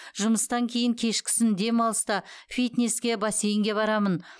жұмыстан кейін кешкісін демалыста фитнеске бассейнге барамын